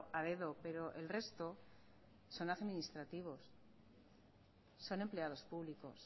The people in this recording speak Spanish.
a dedo pero el resto son administrativos son empleados públicos